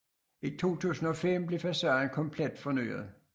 I 2005 blev facaden komplet fornyet